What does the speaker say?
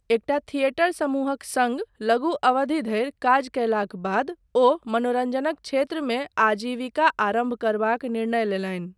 एकटा थिएटर समूहक सङ्ग लघु अवधि धरि काज कयलाक बाद ओ मनोरञ्जनक क्षेत्रमे आजीविका आरम्भ करबाक निर्णय लेलनि।